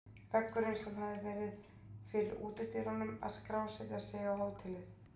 Veggurinn sem hafði verið fyrir útidyrunum að skrásetja sig á hótelið.